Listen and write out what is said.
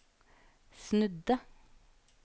snudde